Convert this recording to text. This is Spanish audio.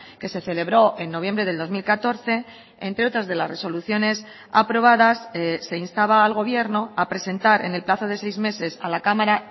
que se celebró en noviembre del dos mil catorce entre otras de las resoluciones aprobadas se instaba al gobierno a presentar en el plazo de seis meses a la cámara